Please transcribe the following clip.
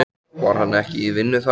Var hann ekki í vinnu þar?